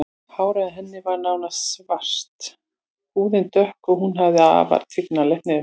Hárið á henni var nánast svart, húðin dökk og hún hafði afar tignarlegt nef.